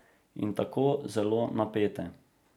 In tako zelo napete.